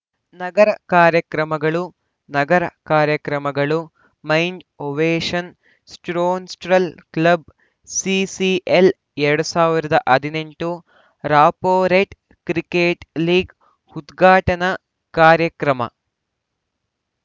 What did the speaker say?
ನಗರ ಕಾರ್ಯಕ್ರಮಗಳು ನಗರ ಕಾರ್ಯಕ್ರಮಗಳು mind ovation sports‍ club CCL ಎರಡ್ ಸಾವಿರದ ಹದಿನೆಂಟು ರಾಪೋರೇಟ್‌ ಕ್ರಿಕೆಟ್‌ ಲೀಗ್‌ ಉದ್ಘಾಟನಾ ಕಾರ್ಯಕ್ರಮ